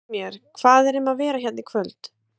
Segðu mér, hvað er um að vera hérna í kvöld?